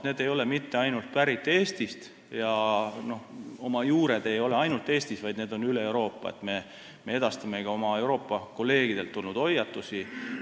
Need ei ole pärit mitte ainult Eestist, nende juured ei ole ainult Eestis, vaid üle Euroopa – me edastamegi oma Euroopa kolleegidelt tulnud hoiatusi.